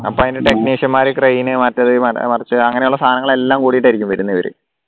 അപ്പോ അതിൻറെ technician മാര് crane മറ്റേത് മറിച്ചത് അങ്ങനെയുള്ള സാനങ്ങൾ എല്ലാ കൂടിയിട്ട് ആയിരിക്കും വരുന്നത് ഇവര്